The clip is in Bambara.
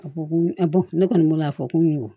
A ko ko ne kɔni bolo a fɔ ko n ye wo